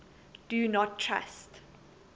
do not trust